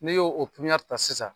Ne ye o pipiniyɛri ta sisan